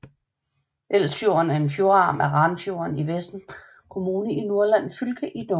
Elsfjorden er en fjordarm af Ranfjorden i Vefsn kommune i Nordland fylke i Norge